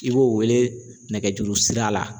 I b'o wele nɛgɛjurusira la.